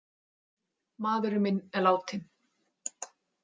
Maðurinn minn er látinn.